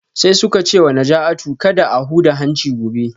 Sai suka ce wa Najatu kada a huda hanci gobe